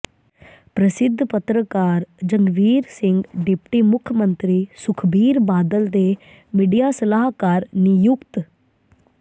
ਪ੍ਰਸਿੱਧ ਪੱਤਰਕਾਰ ਜੰਗਵੀਰ ਸਿੰਘ ਡਿਪਟੀ ਮੁੱਖ ਮੰਤਰੀ ਸੁਖਬੀਰ ਬਾਦਲ ਦੇ ਮੀਡੀਆ ਸਲਾਹਕਾਰ ਨਿਯੁਕਤ